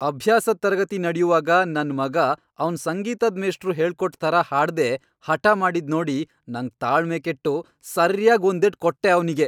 ಅಭ್ಯಾಸದ್ ತರಗತಿ ನಡ್ಯುವಾಗ ನನ್ ಮಗ ಅವ್ನ್ ಸಂಗೀತದ್ ಮೇಷ್ಟ್ರು ಹೇಳ್ಕೊಟ್ ಥರ ಹಾಡ್ದೇ ಹಠ ಮಾಡಿದ್ನೋಡಿ ನಂಗ್ ತಾಳ್ಮೆ ಕೆಟ್ಟು ಸರ್ಯಾಗ್ ಒಂದೇಟ್ ಕೊಟ್ಟೆ ಅವ್ನಿಗೆ.